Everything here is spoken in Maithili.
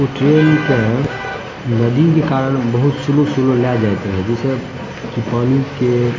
उ ट्रैन के नदी के कारण बहुत स्लो स्लो ले जात रहे जैसे की पानी के --